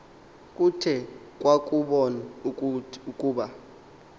kuthe kwakubon ukuba